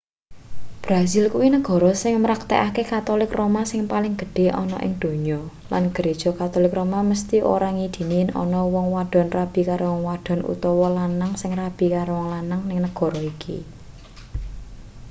brasil kuwi negara sing mraktekake katolik roma sing paling gedhe ana ing donya lan gereja katolik roma mesthi ora ngidini yen ana wong wadon rabi karo wong wadon utawa wong lanang sing rabi karo wong lanang ning negara iki